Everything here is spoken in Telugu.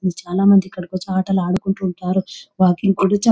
చాలామంది ఇక్కడికి వచ్చే ఆటలాడుకుంటూ ఉంటారు. వాకింగ్ కూడా చే --